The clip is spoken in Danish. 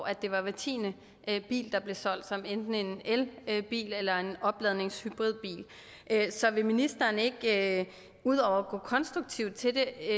at det var hver tiende bil der blev solgt som var enten en elbil eller en opladningshybridbil så vil ministeren ikke ud over at gå konstruktivt til det